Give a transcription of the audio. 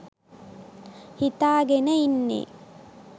හිතාගෙන ඉන්නේ.